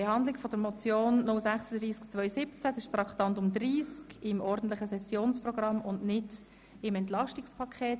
Behandlung der Motion 036-2017 Traktandum Nr. 30 im ordentlichen Sessionsprogramm und nicht im Entlastungspaket.